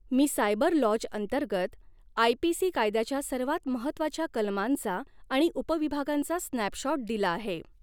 मी cyber laws अंतर्गत IPC कायद्याच्या सर्वात महत्त्वाच्या कलमांचा आणि उपविभागांचा स्नॅपशॉट दिला आहे.